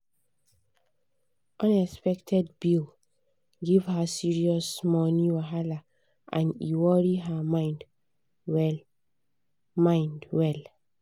unexpected bill give her serious money wahala and e worry her mind well. mind well.